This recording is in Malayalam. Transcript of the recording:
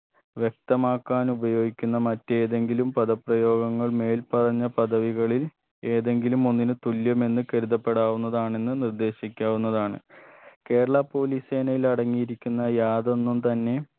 വ്യക്തമാക്കാനുപയോഗിക്കുന്ന മറ്റേതെങ്കിലും പദ പ്രയോഗങ്ങൾ മേൽ പറഞ്ഞ പദവികളിൽ ഏതെങ്കിലുമൊന്നിന് തുല്യമെന്ന് കരുത്തപ്പെടാവുന്നതാണെന്ന് നിർദ്ദേശിക്കാവുന്നതാണ് കേരള police സേനയിൽ അടങ്ങിയിരിക്കുന്ന യാതൊന്നും തന്നെ